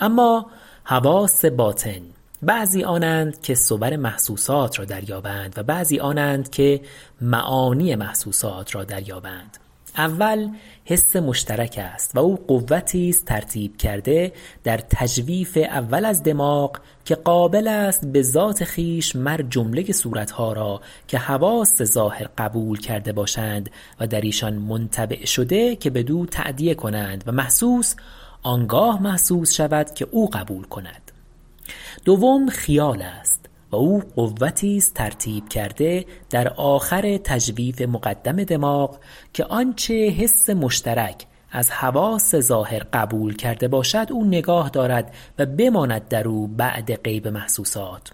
اما حواس باطن بعضی آنند که صور محسوسات را در یابند و بعضی آنند که معانی محسوسات را در یابند اول حس مشترک است و او قوتی است ترتیب کرده در تجویف اول از دماغ که قابل است بذات خویش مر جمله صورت ها را که حواس ظاهر قبول کرده باشند و در ایشان منطبع شده که بدو تأدیه کند و محسوس آنگاه محسوس شود که او قبول کند دوم خیال است و او قوتی است ترتیب کرده در آخر تجویف مقدم دماغ که آنچه حس مشترک از حواس ظاهر قبول کرده باشد او نگاه دارد و بماند درو بعد غیبت محسوسات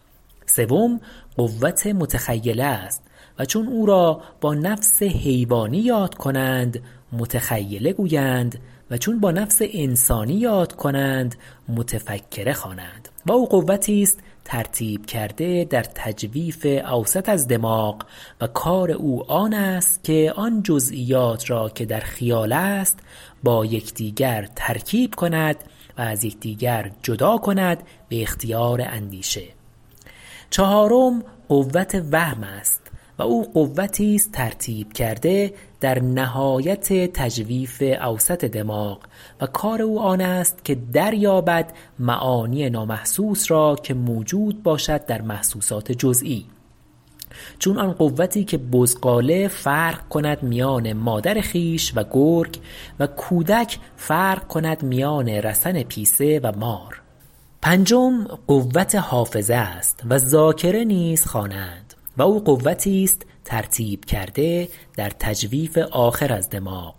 سوم قوت متخیله است و چون او را با نفس حیوانی یاد کنند متخیله گویند و چون با نفس انسانی یاد کنند متفکره خوانند و او قوتی است ترتیب کرده در تجویف اوسط از دماغ و کار او آن است که آن جزییات را که در خیال است با یکدیگر ترکیب کند و از یکدیگر جدا کند به اختیار اندیشه چهارم قوت وهم است و او قوتی است ترتیب کرده در نهایت تجویف اوسط دماغ و کار او آن است که دریابد معانی نامحسوس را که موجود باشد در محسوسات جزیی چون آن قوتی که بزغاله فرق کند میان مادر خویش و گرگ و کودک فرق کند میان رسن پیسه و مار پنجم قوت حافظه است و ذاکره نیز خوانند و او قوتی است ترتیب کرده در تجویف آخر از دماغ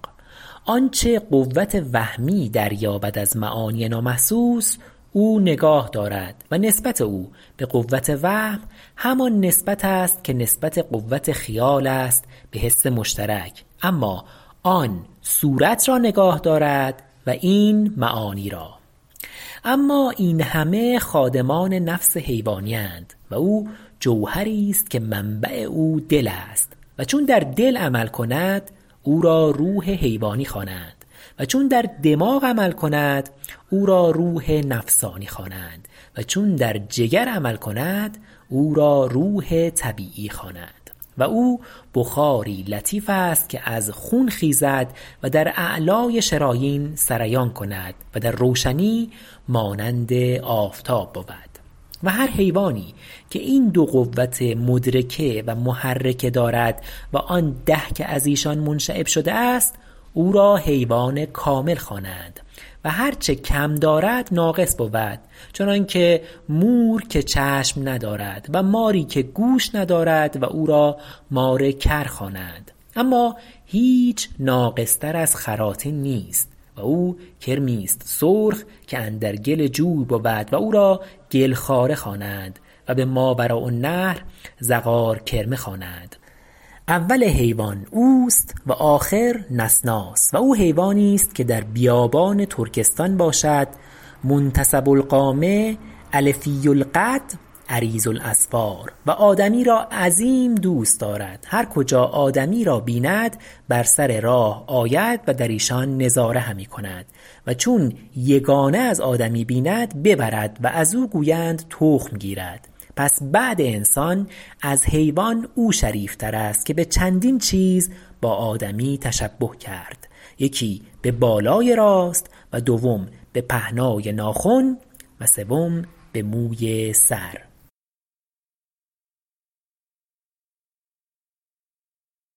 آنچه قوت وهمی در یابد از معانی نامحسوس او نگاه دارد و نسبت او بقوت وهم همان نسبت است که نسبت قوت خیال است بحس مشترک اما آن صورت را نگاه دارد و این معانی را اما این همه خادمان نفس حیوانی اند و او جوهری است که منبع او دل است و چون در دل عمل کند او را روح حیوانی خوانند و چون در دماغ عمل کند او را روح نفسانی خواند و چون در جگر عمل کند او را روح طبیعی خوانند و او بخاری لطیف است که از خون خیزد و در اعلی شرایین سریان کند و در روشنی مانند آفتاب بود و هر حیوانی که این دو قوت مدرکه و محرکه دارد و آن ده که ازیشان منشعب شده است او را حیوان کامل خوانند و هر چه کم دارد ناقص بود چنانکه مور که چشم ندارد و ماری که گوش ندارد و او را مار کر خوانند اما هیچ ناقص تر از خراطین نیست و او کرمی است سرخ که اندر گل جوی بود و او را گل خواره خوانند و به ماوراءالنهر زغار کرمه خوانند اول حیوان اوست و آخر نسناس و او حیوانی است که در بیابان ترکستان باشد منتصب القامة الفی القد عریض الاظفار و آدمی را عظیم دوست دارد هر کجا آدمی را بیند بر سر راه آید و در ایشان نظاره همی کند و چون یگانه از آدمی بیند ببرد و ازو گویند تخم گیرد پس بعد انسان از حیوان او شریفتر است که بچندین چیز با آدمی تشبه کرد یکی به بالای راست و دوم به پهنای ناخن وسوم به موی سر